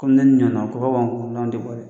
Ko ne ɲana kɔrɔ wan tɛ bɔ dɛ.